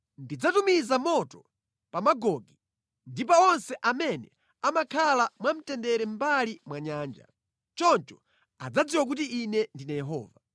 Ndidzatumiza moto pa Magogi ndi pa onse amene amakhala mwamtendere mʼmbali mwa nyanja. Choncho adzadziwa kuti Ine ndine Yehova.’